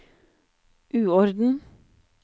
uorden